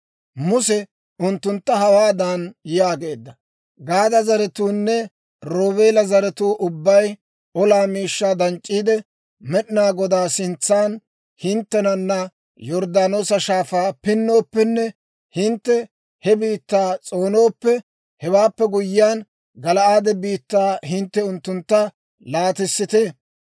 Muse unttuntta hawaadan yaageedda; «Gaada zaratuunne Roobeela zaratuu ubbay olaa miishshaa danc'c'iide, Med'inaa Godaa sintsan hinttenana Yorddaanoosa Shaafaa pinnooppenne hintte he biittaa s'oonooppe, hewaappe guyyiyaan, Gala'aade biittaa hintte unttuntta laatissite.